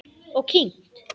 Og kyngt.